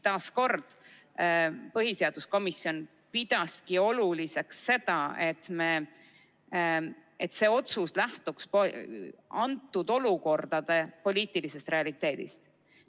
Veel kord: põhiseaduskomisjon pidas oluliseks seda, et see otsus lähtuks konkreetse olukorra poliitilisest realiteedist.